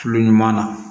Tulo ɲuman na